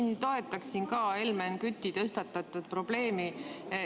Ma toetaksin ka Helmen Küti tõstatatud probleemi.